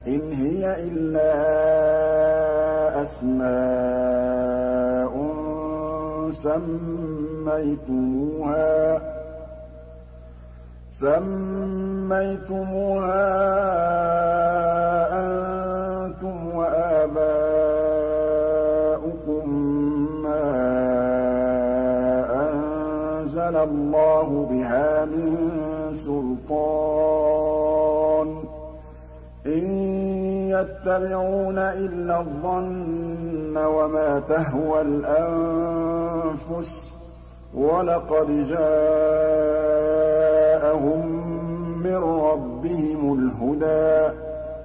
إِنْ هِيَ إِلَّا أَسْمَاءٌ سَمَّيْتُمُوهَا أَنتُمْ وَآبَاؤُكُم مَّا أَنزَلَ اللَّهُ بِهَا مِن سُلْطَانٍ ۚ إِن يَتَّبِعُونَ إِلَّا الظَّنَّ وَمَا تَهْوَى الْأَنفُسُ ۖ وَلَقَدْ جَاءَهُم مِّن رَّبِّهِمُ الْهُدَىٰ